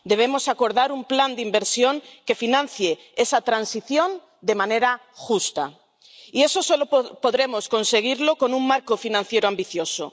Debemos acordar un plan de inversión que financie esa transición de manera justa, y eso solo podremos conseguirlo con un marco financiero ambicioso.